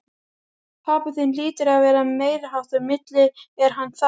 Pabbi þinn hlýtur að vera meiriháttar milli, er hann það?